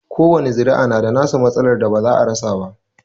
Kowani zuri'a na da nasu matsalar da ba za a rasa ba.